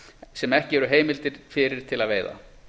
sem ekki eru heimildir fyrir til að veiða